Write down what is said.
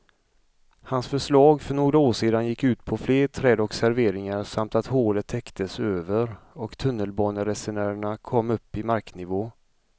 Hans förslag för några år sedan gick ut på fler träd och serveringar samt att hålet täcktes över och tunnelbaneresenärerna kom upp i marknivå.